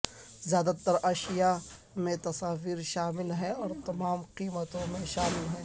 زیادہ تر اشیاء میں تصاویر شامل ہیں اور تمام قیمتوں میں شامل ہیں